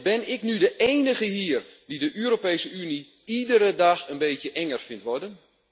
Ben ik nu de enige hier die de Europese Unie iedere dag een beetje enger vindt worden?